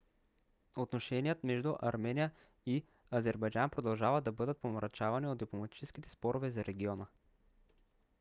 отношеният между армения и азербайджан продължават да бъдат помрачавани от дипломатическите спорове за региона